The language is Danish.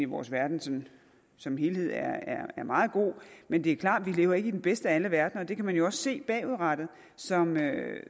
vores verden som som helhed er meget god men det er klart lever i den bedste af alle verdener og det kan man jo også se bagudrettet som